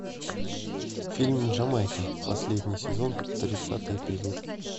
фильм джамайка последний сезон тридцатый эпизод